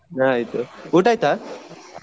ಹ ಆಯ್ತು ಉಟಾಯ್ತಾ?